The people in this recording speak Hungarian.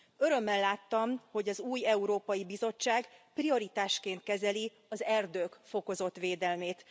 Örömmel láttam, hogy az új Európai Bizottság prioritásként kezeli az erdők fokozott védelmét.